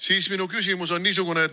Siis minu küsimus on niisugune.